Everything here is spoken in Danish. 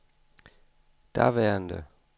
daværende